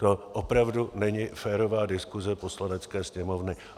To opravdu není férová diskuse Poslanecké sněmovny.